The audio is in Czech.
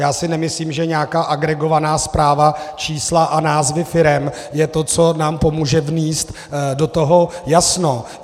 Já si nemyslím, že nějaká agregovaná zpráva, čísla a názvy firem, je to, co nám pomůže vnést do toho jasno.